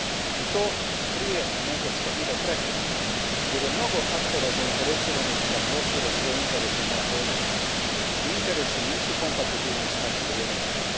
I to prije nego što bude prekasno jer je mnogo aktera zainteresiranih da prošire svoje interese na ovom području, a ti interesi nisu kompatiblni s našim vrijednostima.